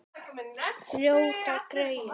Ljóta greyið.